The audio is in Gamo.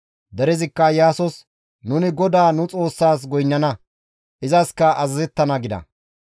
Derezikka Iyaasos, «Nuni GODAA nu Xoossas goynnana; izaskka azazettana» gida.